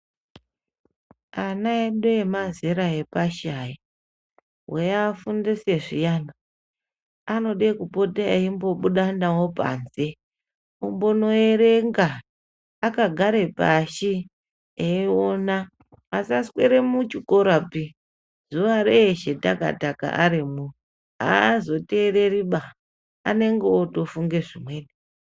Ana edu emazera epashi aya weyiafundise zviyani anode kupota eyimbobuda nawo panze ombonoerenga akagare pashi eyiona asaswera muchikorapi zuva reshee taka taka arimwo azotereri ba anenge otofunge ,vimweni.